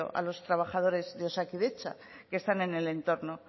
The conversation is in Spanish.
a los trabajadores de osakidetza que están en el entorno